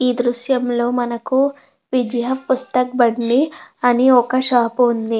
ఈ దృశ్యం లో మనకు విజయ పుస్తక్ బండి అని ఒక షాప్ ఉంది.